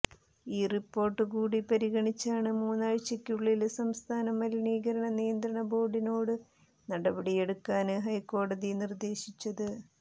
ഈ റിപ്പോര്ട്ടു കൂടി പരിഗണിച്ചാണ് മൂന്നാഴ്ചയ്ക്കുള്ളില് സംസ്ഥാന മലിനീകരണ നിയന്ത്രണ ബോര്ഡിനോടു നടപടിയെടുക്കാന് ഹൈക്കോടതി നിര്ദ്ദേശിച്ചത്